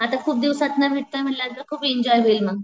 आता खूप दिवसातन भेटतोय म्हंटल्यानंतर खूप एन्जॉय होईल मग.